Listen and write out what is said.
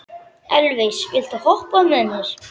Elvis, viltu hoppa með mér?